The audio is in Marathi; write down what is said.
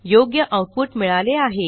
योग्य आऊटपुट मिळाले आहे